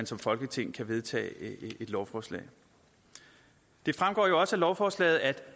som folketing kan vedtage et lovforslag det fremgår også af lovforslaget at